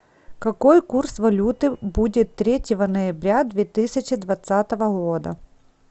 какой курс валюты будет третьего ноября две тысячи двадцатого года